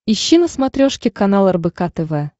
ищи на смотрешке канал рбк тв